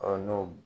n'o